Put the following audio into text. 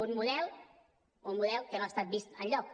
un model un model que no ha estat vist enlloc